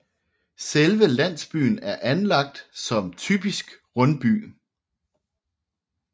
Selve landsbyen er anlagt som typisk rundby